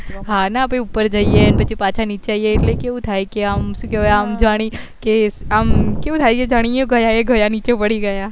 હા ના આપડે ઉપર જઈએ અને પાછા નીચે આવવી એટલે કેવું થાય કે આમ શું કેવાય આમ જાણી એ ગયા ગયા નીચે પડી ગયા